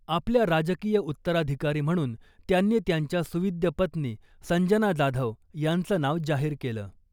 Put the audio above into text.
आपल्या राजकीय उत्तराधिकारी म्हणून त्यांनी त्यांच्या सुविद्य पत्नी संजना जाधव यांचं नाव जाहीर केलं .